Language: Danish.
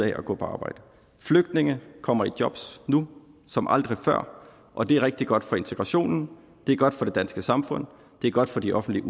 at gå på arbejde flygtninge kommer i jobs nu som aldrig før og det er rigtig godt for integrationen det er godt for det danske samfund og det er godt for de offentlige